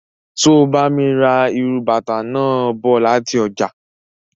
So bá mi ra írú bàtà náà bọ láti ọjà.